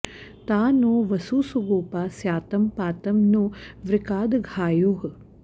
ता नो॑ वसू सुगो॒पा स्या॑तं पा॒तं नो॒ वृका॑दघा॒योः